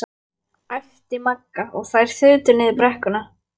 . æpti Magga og þær þutu niður brekkuna.